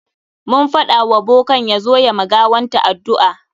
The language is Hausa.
Mun faɗa wa bokan ya zo ya ma gawanta addu'a.